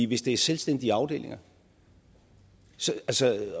hvis det er selvstændige afdelinger sådan